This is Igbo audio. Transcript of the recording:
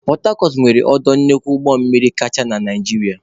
Pọtacọt nwere ọdọ nnukwu ụgbọmmiri kacha na Naịjirịa.